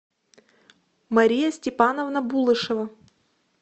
мария степановна булышева